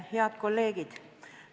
Head kolleegid!